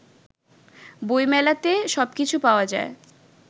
বইমেলাতে সবকিছু পাওয়া যায়